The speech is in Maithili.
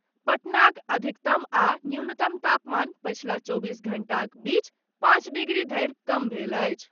पटनाक अधिकतम आ न्यूनतम तापमान पछिला चौबीस घंटाक बीच पांच डिग्री धरि कम भेल अछि।